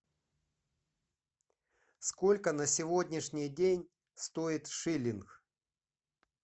сколько на сегодняшний день стоит шиллинг